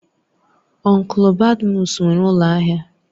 Ọnklu Badmus nwere ụlọ ahịa